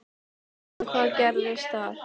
En hvað gerðist þar?